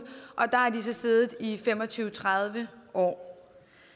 og der har de så siddet i fem og tyve til tredive år